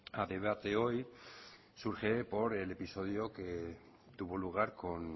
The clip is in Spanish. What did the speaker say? a debate hoy surge por el episodio que tuvo lugar con